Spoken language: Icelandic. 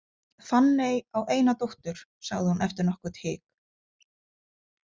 Fanney á eina dóttur, sagði hún eftir nokkurt hik.